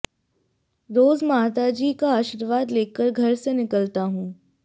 रोज़ माताजी का आशीर्वाद लेकर घर से निकलता हूं